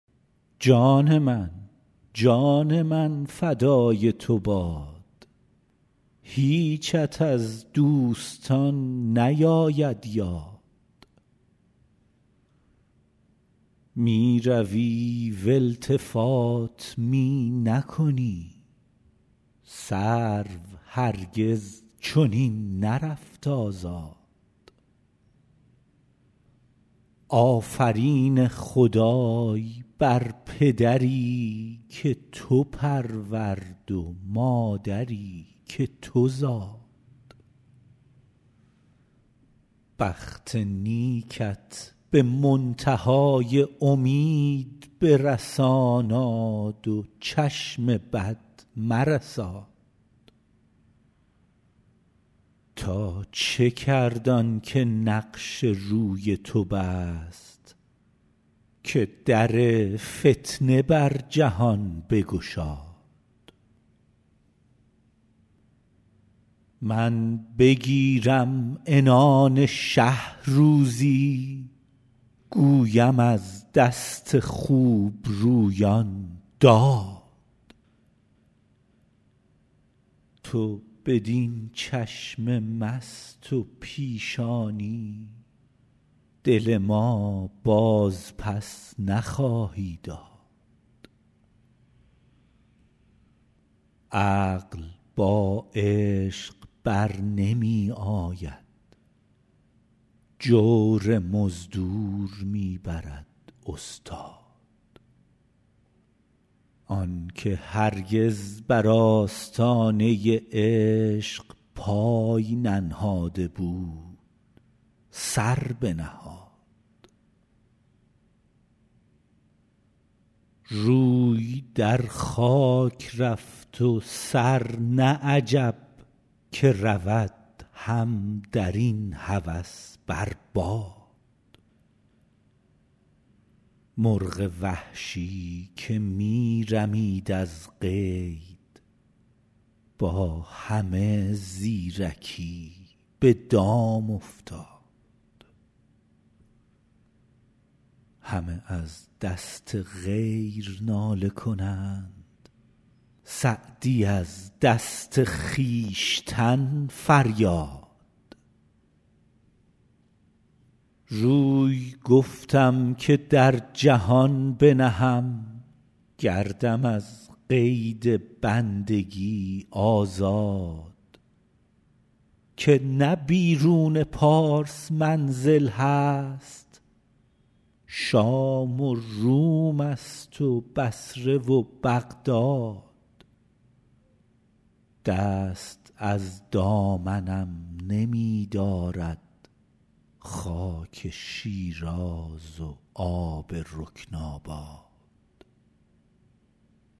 جان من جان من فدای تو باد هیچت از دوستان نیاید یاد می روی و التفات می نکنی سرو هرگز چنین نرفت آزاد آفرین خدای بر پدری که تو پرورد و مادری که تو زاد بخت نیکت به منتها ی امید برساناد و چشم بد مرساد تا چه کرد آن که نقش روی تو بست که در فتنه بر جهان بگشاد من بگیرم عنان شه روزی گویم از دست خوبرویان داد تو بدین چشم مست و پیشانی دل ما بازپس نخواهی داد عقل با عشق بر نمی آید جور مزدور می برد استاد آن که هرگز بر آستانه عشق پای ننهاده بود سر بنهاد روی در خاک رفت و سر نه عجب که رود هم در این هوس بر باد مرغ وحشی که می رمید از قید با همه زیرکی به دام افتاد همه از دست غیر ناله کنند سعدی از دست خویشتن فریاد روی گفتم که در جهان بنهم گردم از قید بندگی آزاد که نه بیرون پارس منزل هست شام و روم ست و بصره و بغداد دست از دامنم نمی دارد خاک شیراز و آب رکن آباد